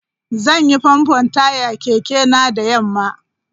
Zan yi famfo taya kekena da yamma.